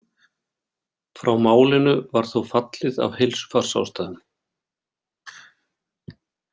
Frá málinu var þó fallið af heilsufarsástæðum.